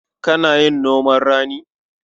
Kana yin noman rani?